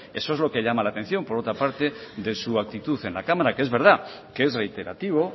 eso es lo que llama la atención por otra parte de su actitud en la cámara que es verdad que es reiterativo